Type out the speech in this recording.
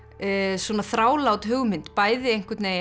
svona þrálát hugmynd bæði